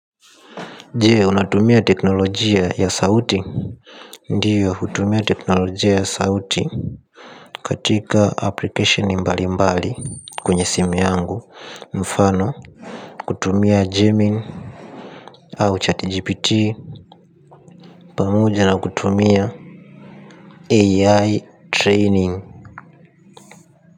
Je unatumia teknolojia ya sauti. Ndiyo hutumia teknolojia ya sauti. Katika application mbali mbali kwenye simu yangu mfano kutumia gemini au chat GPT pamoja na kutumia AI training.